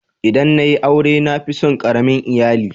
ldan na yi aure na fi tson karamin lyalli.